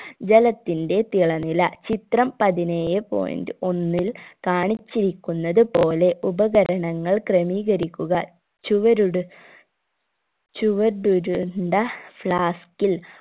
ജലത്തിന്റെ തിളനില ചിത്രം പതിനേഴെ point ഒന്നിൽ കാണിച്ചിരിക്കുന്നത് പോലെ ഉപകരണങ്ങൾ ക്രമീകരിക്കുക ചുവരുട് ചുവടുരുണ്ട flask ഇൽ